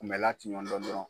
Kunmɛlan tɛ ɲɔn dɔn dɔrɔn.